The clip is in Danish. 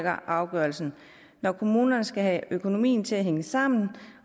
afgørelsen når kommunerne skal have økonomien til at hænge sammen